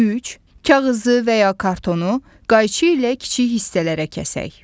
Üç, kağızı və ya kartonu qayçı ilə kiçik hissələrə kəsək.